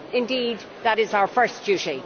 indeed, that is our first duty.